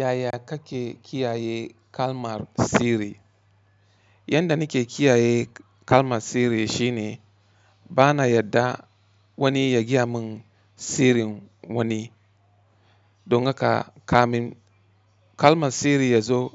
Yaya kake kiyaye kalmar sirri? Yanda nike kiyaye kalmar sirri shine bana yarda wani ya giya mun sirrin wani. Don haka kamin kalmar sirri yazo